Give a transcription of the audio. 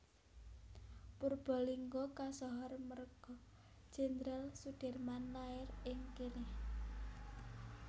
Purbalingga kasohor merga Jenderal Soedirman lair ing kene